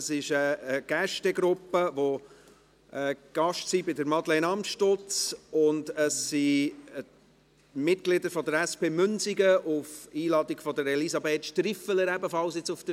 Eine Gruppe ist von Madeleine Amstutz eingeladen, die zweite besteht aus Mitgliedern der SP Münsingen und ist auf Einladung von Elisabeth Striffeler hier.